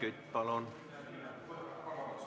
Helmen Kütt, palun!